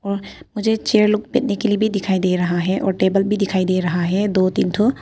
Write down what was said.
और मुझे चेयर लोग बैठने के लिए दिखाई दे रहा है और टेबल भी दिखाई दे रहा है दो तीन ठो।